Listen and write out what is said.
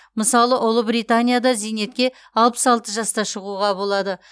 мысалы ұлыбританияда зейнетке алпыс алты жаста шығуға болады